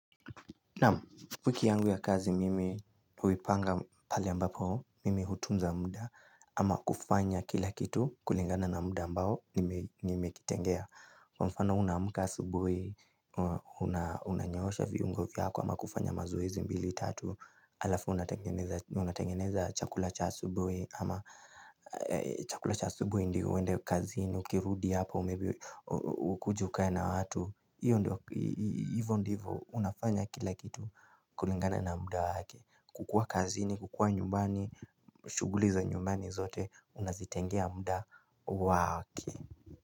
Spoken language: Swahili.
Naam wiki yangu ya kazi mimi huipanga pale ambapo mimi hutunza muda ama kufanya kila kitu kulingana na muda ambao nimekitengea. Kwa mfano unaamuka asubuhi, unanyoosha viungo vyako ama kufanya mazoezi mbili tatu hAlafu unatengeneza chakula cha asubuhi Ama chakula cha asubuhi ndio uende kazini, ukirudi hapa, ukuje ukae na watu Iyo ndivo, unafanya kila kitu kulingana na muda waki kukua kazini, kukua nyumbani, shughuliza nyumbani zote, unazitengea muda waki.